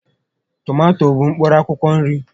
Tomato bụ mkpụrụ akwụkwọ nri